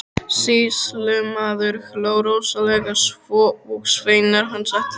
Sýslumaður hló rosalega, svo og sveinar hans allir.